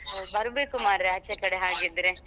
ಹೋ ಬರ್ಬೇಕು ಮಾರ್ರೆ ಆಚೆ ಕಡೆ ಹಾಗಿದ್ರೆ.